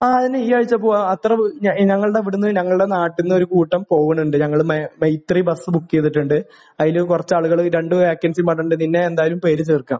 ആ. അത് തന്നെ ഈ ആഴ്ച പോകാം. അത്ര ഞങ്ങളുടെ ഇവിടുന്ന് ഞങ്ങളുടെ നാട്ടിൽ നിന്ന് ഒരു കൂട്ടം പോകുന്നുണ്ട്. ഞങ്ങൾ മ...മൈത്രി ബസ് ബുക്ക് ചെയ്തിട്ടുണ്ട്. അതിൽ കുറച്ച് ആളുകൾ രണ്ട് വേക്കൻസി പറഞ്ഞിട്ടുണ്ട്. നിന്നെ എന്തായാലും പേര് ചേർക്കാം.